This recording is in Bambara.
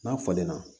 N'a falenna